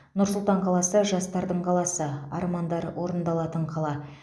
нұр сұлтан қаласы жастардың қаласы армандар орындалатын қала